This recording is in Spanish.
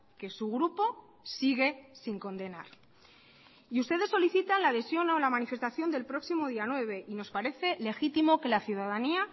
que su grupo sigue sin condenar y ustedes solicitan la adhesión a la manifestación del próximo día nueve y nos parece legítimo que la ciudadanía